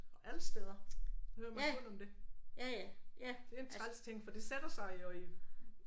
Alle steder så hører man kun om det. Det er en træls ting for det sætter sig jo i